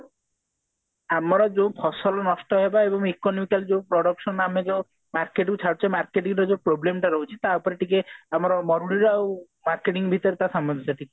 ଆମର ଯୋଉ ଫସଲ ନଷ୍ଟ ହେବା ଏବଂ economical production ଆମେ ଯୋଉ market କୁ ଛାଡୁଛେ marketing ରେ ଯୋଉ problem ଟା ରହୁଛି ତା ଉପରେ ଟିକେ ଆମର ମରୁଡି ର ଆଉ marketing ବିଷୟରେ ସାମଞ୍ଜସ୍ଯ ଟିକେ